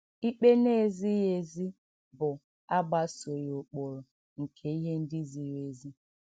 Ikpe na - ezighị ezi bụ agbasoghị ụkpụrụ nke ihe ndị ziri ezi.